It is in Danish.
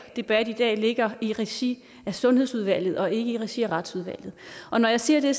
debat i dag ligger i regi af sundhedsudvalget og ikke i regi af retsudvalget og når jeg siger det